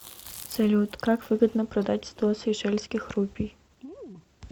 салют как выгодно продать сто сейшельских рупий